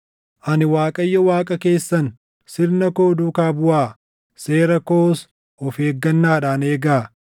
Ani Waaqayyo Waaqa keessan; sirna koo duukaa buʼaa; seera koos of eeggannaadhaan eegaa.